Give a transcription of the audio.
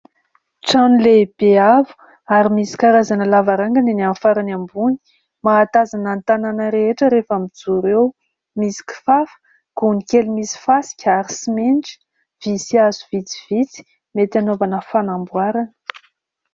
Trano lehibe avo ary misy karazana lavarangana eny amin'ny farany ambony. Mahatazana ny tanàna rehetra rehefa mijoro eo, misy kifafa, gony kely misy fasika ary simenitra, vy sy hazo vitsivitsy mety hanaovana fanamboarana.